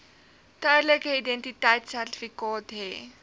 tydelike identiteitsertifikaat hê